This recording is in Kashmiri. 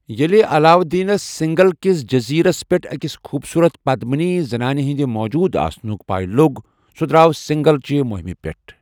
ییٚلہِ علاودیٖنس سِنٛگھل کِس جٔزیٖرس پٮ۪ٹھ أکِس خوٗبصۄٖرت پدمِنی زنانہِ ہِنٛدِ موُجوُد آسنٗك پیہ لو٘گ، سُہ درٛاو سِنٛگھل چہِ مٗیِمہِ پیٹھ۔